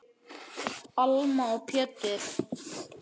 Alma og Pétur.